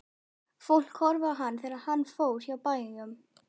Fólk horfði á hann þegar hann fór hjá bæjum.